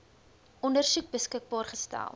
ondersoek beskikbaar gestel